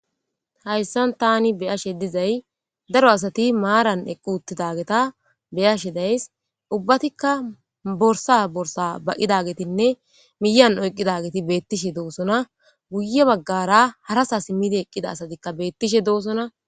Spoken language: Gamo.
hayssan tani beyashe dizay daro asati maaran eqqu uttidageta beyashe days ubbatikka borsa borsa baqidagetinne miyan oyqqidageti beettishe doosona guye baggara harasa simmidi eqqida asatikka beettishe doosona